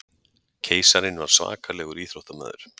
Keisarinn var svakalegur íþróttamaður.